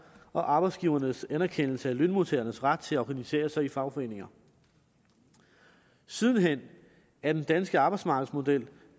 og arbejdsgivernes anerkendelse af lønmodtagernes ret til at organisere sig i fagforeninger sidenhen er den danske arbejdsmarkedsmodel